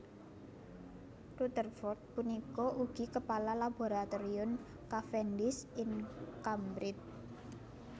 Rutherford punika ugi kepala Laboratorium Cavendish ing Cambridge